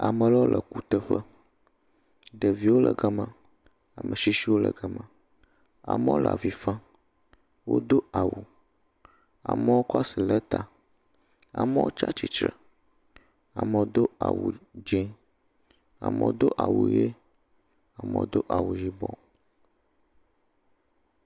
Ame aɖewo le kuteƒe. Ɖeviwo le ga ma. Ame tsitsiwo le ga ma. Amewo le avi fam. Wodo awu. Amewo kɔ asi ɖe ta, amewo tsi atsitre, amewo do awu dzi, amewo do awu ʋi, amewo do awu yibɔ.